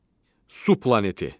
Su planeti.